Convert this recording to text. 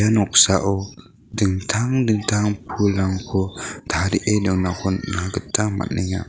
noksao dingtang dingtang pulrangko tarie donako nikna gita man·enga.